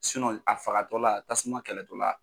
a fagatɔla tasuma kɛlɛtɔla.